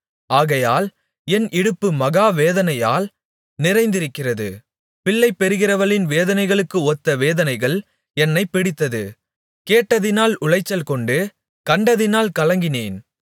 ஆகையால் என் இடுப்பு மகாவேதனையால் நிறைந்திருக்கிறது பிள்ளைபெறுகிறவளின் வேதனைகளுக்கு ஒத்த வேதனைகள் என்னைப் பிடித்தது கேட்டதினால் உளைச்சல்கொண்டு கண்டதினால் கலங்கினேன்